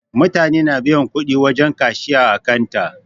Mutane na biyan kudi wajen kashiya ã kanta.